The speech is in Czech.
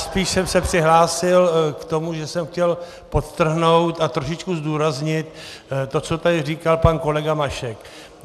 Spíš jsem se přihlásil k tomu, že jsem chtěl podtrhnout a trošičku zdůraznit to, co tady říkal pan kolega Mašek.